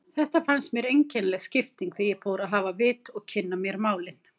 Þetta fannst mér einkennileg skipting þegar ég fór að hafa vit og kynna mér málin.